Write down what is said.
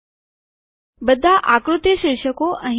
બધા આકૃતિ શીર્ષક અહીં દેખાશે